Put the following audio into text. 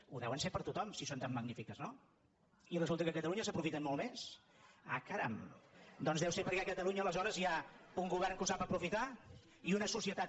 ho deuen ser per a tothom si són tan magnífiques no i resul·ta que a catalunya s’aprofiten molt més ah caram doncs deu ser perquè a catalunya aleshores hi ha un govern que ho sap aprofitar i una societat